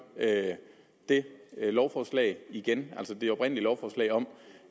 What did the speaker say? det her lovforslag igennem altså det oprindelige lovforslag om